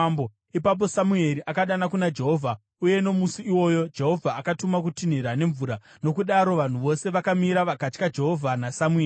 Ipapo Samueri akadana kuna Jehovha uye, nomusi iwoyo, Jehovha akatuma kutinhira nemvura, nokudaro vanhu vose vakamira vakatya Jehovha naSamueri.